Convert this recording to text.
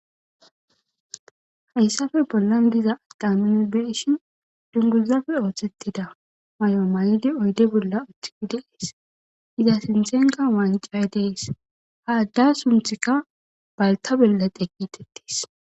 Hayssafe bollan diza addaminbeshin dunguzafe ooththettida may'o may'idi oyde bolla uthikide ees iza sinthenka waancay dees haadda sunthikka balta bella deqitettees.